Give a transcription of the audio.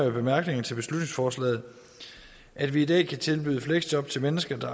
i bemærkningerne til beslutningsforslaget at vi i dag kan tilbyde fleksjob til mennesker der